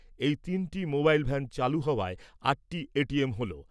এই তিনটি mobile van চালু হওয়ায় আটটি এটিএম হলো।